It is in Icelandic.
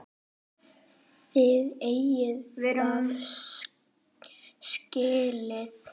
Þið eigið það skilið.